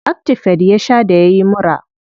Actifed ya sha da yayi mura.